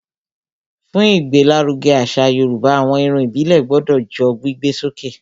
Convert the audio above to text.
Fún ìgbé l'áruge àṣà yorùbá, àwọn Irun ìbílè gbodò jó gbígbé sókè